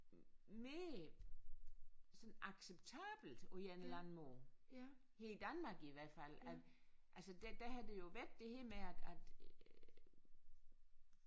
Mere sådan acceptabelt på en eller anden måde her i Danmark i hvert fald at altså der der har der jo været det her med at at øh